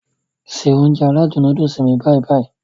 Se Ounjẹ aládùn nóódùsì mi báyì-báyì